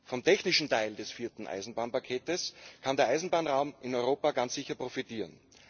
Vom technischen Teil des vierten Eisenbahnpakets kann der Eisenbahnraum in Europa ganz sicher profitieren.